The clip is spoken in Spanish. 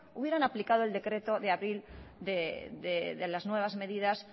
hubieran aplicado el decreto de abril de las nuevas medidas